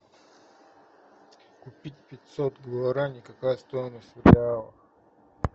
купить пятьсот гуарани какая стоимость в реалах